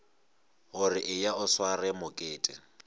gore eya o sware mokete